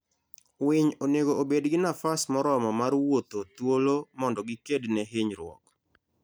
winy onego obed gi nafas moromo mar wuotho thuolo mondo gikedne hinyruok